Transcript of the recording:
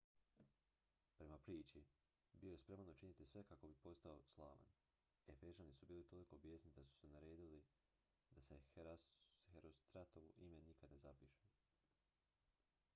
prema priči bio je spreman učiniti sve kako bi postao slavan efežani su bili toliko bijesni da su naredili da se herostratovo ime nikad ne zapiše